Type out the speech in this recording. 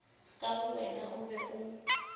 ka bowena o be o